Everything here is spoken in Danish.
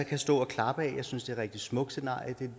kan stå og klappe af jeg synes det rigtig smukt scenarie